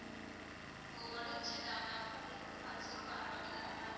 ஒடன்சிட்டா ma'am அப்போ உங்களுக்கு வந்து பல் check பண்ணனும் அப்டிதானே mam